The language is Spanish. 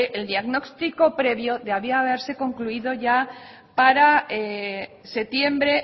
el diagnóstico previo debía haberse concluido ya para septiembre